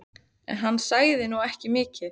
En hann sagði nú ekki mikið.